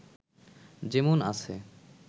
যেমন আছে